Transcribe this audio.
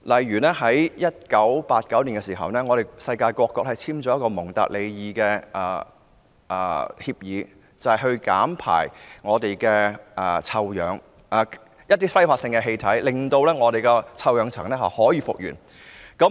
1989年世界各國簽訂了《蒙特利爾議定書》，規定減少排放揮發性氣體，令臭氧層得以復原。